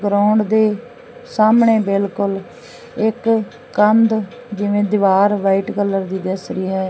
Ground ਦੇ ਸਾਹਮਣੇ ਬਿਲਕੁਲ ਇਕ ਕੰਧ ਜਿਵੇਂ ਦੀਵਾਰ ਵਾਈਟ ਕਲਰ ਦੀ ਦਿਸ ਰਹੀ ਹੈ।